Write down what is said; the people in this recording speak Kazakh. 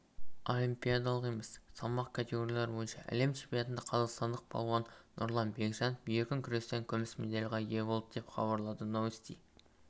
олимпиадалық емес салмақ категориялары бойынша әлем чемпионатында қазақстандық палуан нұрлан бекжанов еркін күрестен күміс медальға ие болды деп хабарлады новости